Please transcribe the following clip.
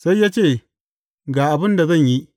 Sai ya ce, Ga abin da zan yi.